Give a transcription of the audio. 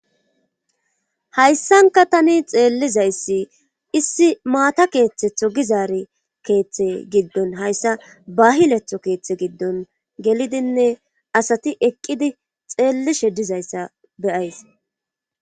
Hayssanka tani xeellizayssi issi maata keeththetho gizaari keeththe giddon hayssa bahiletho keeththe giddon gelidinne asati eqqidi xeelli shedizayssa beyays.